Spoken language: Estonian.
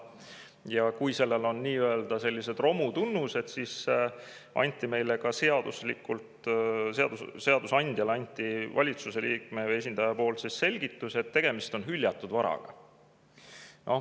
Ja kui sellel on nii-öelda romu tunnused, siis selle kohta anti meile, seadusandjale, valitsuse liikme või esindaja poolt selgitus, et tegemist on hüljatud varaga.